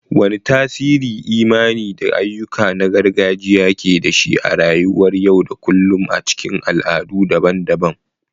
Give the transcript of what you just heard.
Wane tasiri imani da ayyuka na gargajiya ke da shi a rayuwar yau da kullun a cikin al'adu daban-daban?